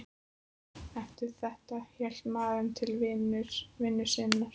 Eftir þetta hélt maðurinn til vinnu sinnar.